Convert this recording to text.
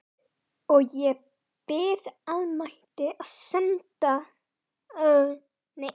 Og ég bið almættið að senda foreldrum drengsins óendanlegan kraft.